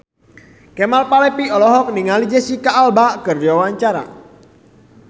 Kemal Palevi olohok ningali Jesicca Alba keur diwawancara